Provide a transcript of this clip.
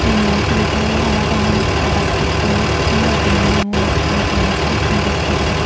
tenga u tuli paribugoi parapang se adhar card oi finger print miley mulay tenga tulonne sedekkin guri tuli pare parapang.